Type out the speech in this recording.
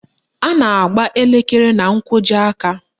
A na-agba elekere na nkwọji aka